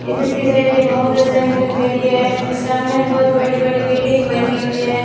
इधर की साइड एक मोटर साइकिल खड़ी है सामने बहुत बड़ी बड़ी बिल्डिंग बनी हुई है।